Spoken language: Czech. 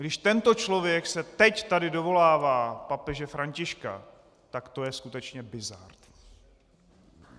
Když tento člověk se teď tady dovolává papeže Františka, tak to je skutečně bizard.